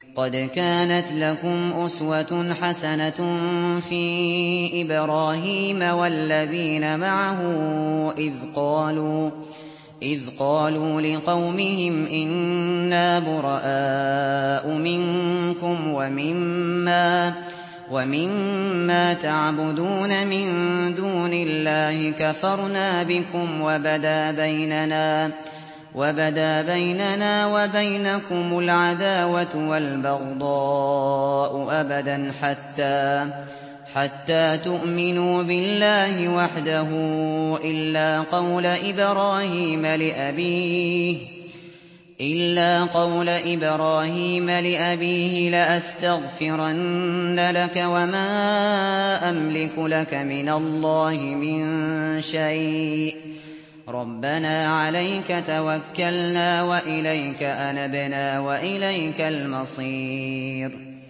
قَدْ كَانَتْ لَكُمْ أُسْوَةٌ حَسَنَةٌ فِي إِبْرَاهِيمَ وَالَّذِينَ مَعَهُ إِذْ قَالُوا لِقَوْمِهِمْ إِنَّا بُرَآءُ مِنكُمْ وَمِمَّا تَعْبُدُونَ مِن دُونِ اللَّهِ كَفَرْنَا بِكُمْ وَبَدَا بَيْنَنَا وَبَيْنَكُمُ الْعَدَاوَةُ وَالْبَغْضَاءُ أَبَدًا حَتَّىٰ تُؤْمِنُوا بِاللَّهِ وَحْدَهُ إِلَّا قَوْلَ إِبْرَاهِيمَ لِأَبِيهِ لَأَسْتَغْفِرَنَّ لَكَ وَمَا أَمْلِكُ لَكَ مِنَ اللَّهِ مِن شَيْءٍ ۖ رَّبَّنَا عَلَيْكَ تَوَكَّلْنَا وَإِلَيْكَ أَنَبْنَا وَإِلَيْكَ الْمَصِيرُ